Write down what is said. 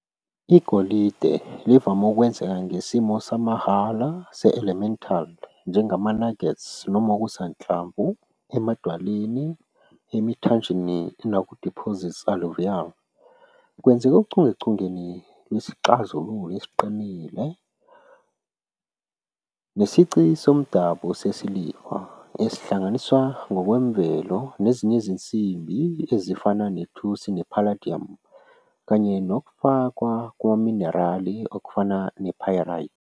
Igolide livame ukwenzeka ngesimo samahhala se-elemental, njengama-nuggets noma okusanhlamvu, emadwaleni, emithanjeni, naku-deposits alluvial. Kwenzeka ochungechungeni lwesixazululo esiqinile nesici somdabu sesiliva, esihlanganiswa ngokwemvelo nezinye izinsimbi ezifana nethusi ne-palladium kanye nokufakwa kwamaminerali okufana ne-pyrite.